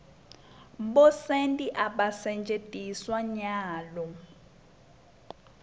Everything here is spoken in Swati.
bosenti abasentjetiswa nyalo